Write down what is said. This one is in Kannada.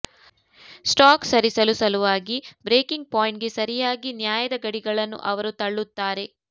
ಸ್ಟಾಕ್ ಸರಿಸಲು ಸಲುವಾಗಿ ಬ್ರೇಕಿಂಗ್ ಪಾಯಿಂಟ್ಗೆ ಸರಿಯಾಗಿ ನ್ಯಾಯದ ಗಡಿಗಳನ್ನು ಅವರು ತಳ್ಳುತ್ತಾರೆ